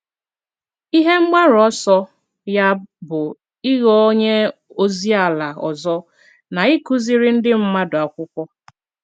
Ihe mgbaru ọsọ ya bụ ịghọ onye ozi ala ọzọ na ịkụziri ndị mmadụ akwụkwo